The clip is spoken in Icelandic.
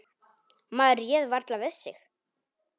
Maður réð varla við sig.